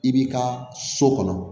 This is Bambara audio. I b'i ka so kɔnɔ